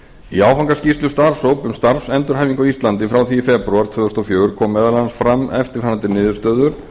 í áfangaskýrslu starfshóps um starfsendurhæfingu á íslandi frá því í febrúar tvö þúsund og fjögur komu meðal annars fram eftirfarandi niðurstöður